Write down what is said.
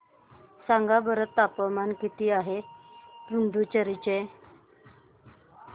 सांगा बरं तापमान किती आहे पुडुचेरी चे